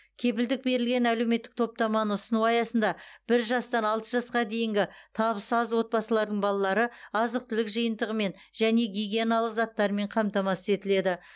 кепілдік берілген әлеуметтік топтаманы ұсыну аясында бір жастан алты жасқа дейінгі табысы аз отбасылардың балалары азық түлік жиынтығымен және гигиеналық заттарымен қамтамасыз етіледі